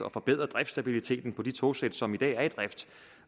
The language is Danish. at forbedre driftstabiliteten på de togsæt som i dag er i drift